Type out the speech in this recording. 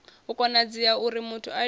a konadzea urimuthu a litshe